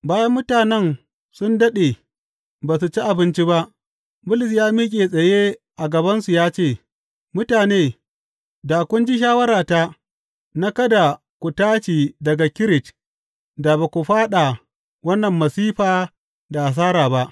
Bayan mutanen sun daɗe ba su ci abinci ba, Bulus ya miƙe tsaye a gabansu ya ce, Mutane, da kun ji shawarata na kada ku tashi daga Kirit, da ba ku fāɗa wannan masifa da hasara ba.